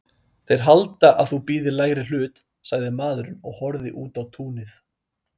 Þeir halda að þú bíðir lægri hlut, sagði maðurinn og horfði út á túnið.